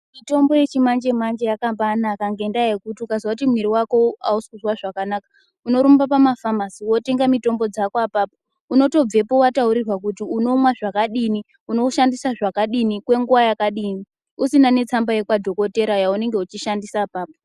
Mitombo yechimanje manje yakambare naka ngendaa yekuti ukazwa kuti muiri wako hausikuzwa zvakanaka anorumba pamafamasi wotenga mitombo dzako apapa unotobveko wataurirwa kuti unounwa zvakadini, unowushandisa zvakadini ,kwenguvayakadini usina netsamba yekwadogodheya yaanenge uchishandisa ipapo.